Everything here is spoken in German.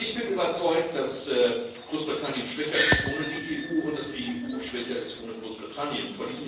Ich bin überzeugt, dass Großbritannien schwächer ist ohne die EU und dass die EU schwächer ist ohne Großbritannien.